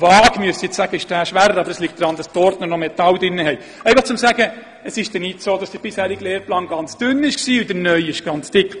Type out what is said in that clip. Nach dem heutigen Gesetz über die politischen Rechte müsste man diese Unterlagen dem Volk zusenden.